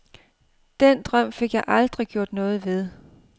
Den drøm fik jeg aldrig gjort noget ved.